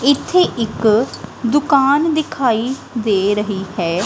ਇੱਥੇ ਇੱਕ ਦੁਕਾਨ ਦਿਖਾਈ ਦੇ ਰਹੀ ਹੈ।